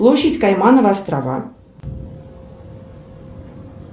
площадь каймановы острова